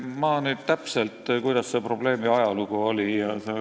Ma nüüd täpselt ei tea, kuidas selle probleemi ajalugu on.